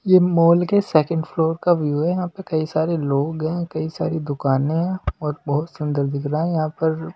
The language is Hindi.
ये मॉल के सेकंड फ्लोर का व्यू है यहाँ पे कई सारे लोग हैं कई सारी दुकानें हैं और बहुत सुंदर दिख रहा है यहाँ पर--